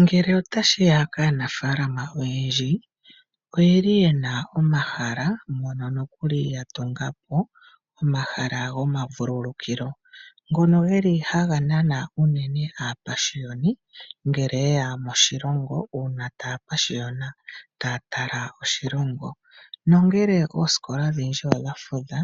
Ngele otashi ya kaanafaalama oyendji oyeli yena omahala mpono nokuli ya tunga po omahala gomavululukilo. Ngono geli haga nana unene aapashiyoni ngele yeya moshilongo uuna taya pashiyona taya tala oshilongo. Nongele oosikola odhindji odha fudha